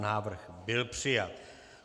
Návrh byl přijat.